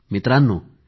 मित्रांनो